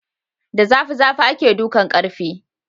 Da zafi zafi ake dukan ƙarfe